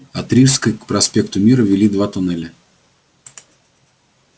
от рижской к проспекту мира вели два туннеля